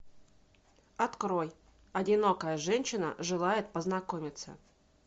открой одинокая женщина желает познакомиться